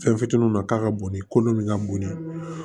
Fɛn fitininw na k'a ka boli kolo min ka bon ni